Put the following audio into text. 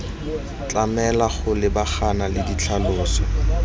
tlamelwa go lebagana le ditlhaloso